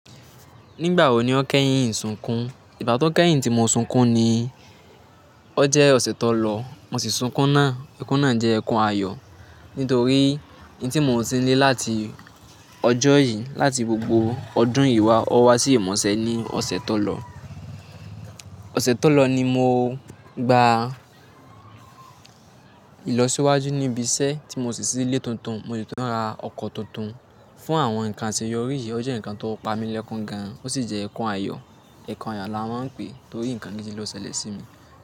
Nígbà wo ni ó kẹ́yìn sunkún? Ìgbá tó kẹ́yìn tí mo sunkún ni ó jẹ́ ọ̀sẹ̀ tó lọ mo sì sunkún náà. Ẹkún náà jẹ́ ẹkún ayọ̀. Nítorí ohun tí mo ti ń lé láti ọjọ́ yìí láti gbogbo ọdún yìí wa, ó wá sí ìmọ̀ṣẹ́ ní ọ̀sẹ̀ tó lọ. Ọ̀sẹ̀ tó lọ ni mo gba ìlọsíwájú níbi iṣẹ́ tí mo sì ṣílé tuntun. Mo sì tún ra ọkọ̀ tuntun. Fún àwọn nǹkan àṣeyọrí yìí, ó jẹ́ nǹkan tó pa mí lẹ́kun gan-an, ó sì jẹ́ ẹkún ayọ̀. Ẹkún ayọ̀ la máa ń pè é torí nǹkan méjì ni ó ṣẹlẹ̀ sí mi.